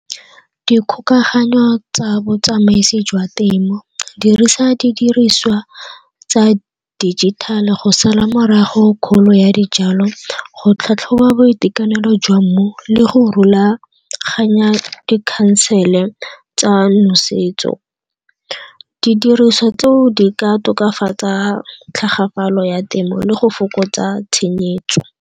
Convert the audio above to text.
Dikgokagano tsa botsamaisi jwa tem. Dirisa didiriswa tsa dijithale go sala morago kgolo ya dijalo, go tlhatlhoba boitekanelo jwa mmu le go rulaganya dikhansele tsa nosetso. Didiriswa tseo di ka tokafatsa tlhagafalo ya temo le go fokotsa tshenyetso.